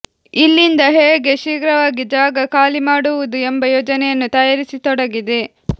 ಇಲ್ಲಿಂದ ಹೇಗೆ ಶೀಘ್ರವಾಗಿ ಜಾಗ ಖಾಲಿ ಮಾಡುವುದು ಎಂಬ ಯೋಜನೆಯನ್ನು ತಯಾರಿಸಿತೊಡಗಿದೆ